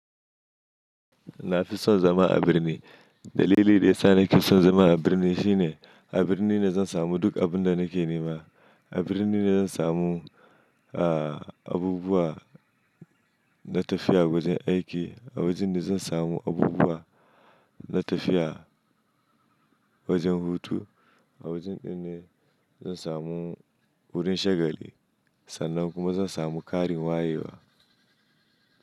Nafi son zama a birni. Dalili da yasa nake son zama a birni shine, a birni ne zan samu duk abun da nake nema. A birni ne zan samu, abubuwa na tafiya wajen aiki. A wajen ne zan samu abubuwa na tafiya wajen hutu. A wajen ɗin ne zan samu wurin shagali sannan kuma zan samu ƙarin wayewa.